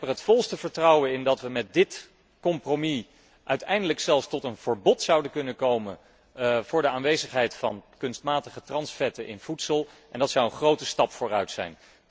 Ik heb er het volste vertrouwen in dat we met dit compromis uiteindelijk zelfs kunnen komen tot een verbod op de aanwezigheid van kunstmatige transvetten in voedsel en dat zou een grote stap vooruit zijn.